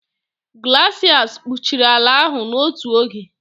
glaciers kpuchiri ala ahụ n'otu oge.